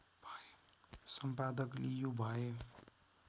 सम्पादक लियु भए